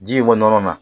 Ji in kɔnɔna na